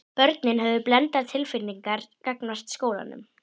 Börnin höfðu blendnar tilfinningar gagnvart skólanum.